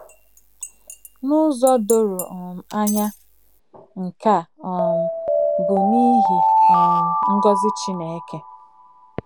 N’ụzọ doro um anya, nke a um bụ n’ihi um ngọzi Chineke.